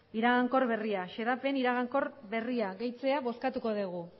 iragankor berria xedapen iragankor berria gehitzea bozkatuko dugu